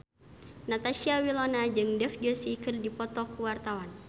Natasha Wilona jeung Dev Joshi keur dipoto ku wartawan